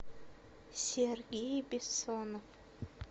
сергей бессонов